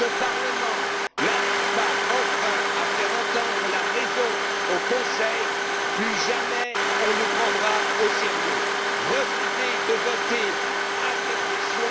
Si ce Parlement n'arrive pas enfin à faire entendre raison au Conseil, plus jamais nous ne serons pris au sérieux. Refusez de voter lors de cette session!